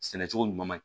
Sɛnɛ cogo ɲuman